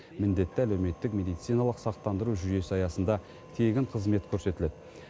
міндетті әлеуметтік медициналық сақтандыру жүйесі аясында тегін қызмет көрсетіледі